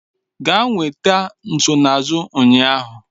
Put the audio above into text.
Gaa nweta nsonaazụ ụnyaahụ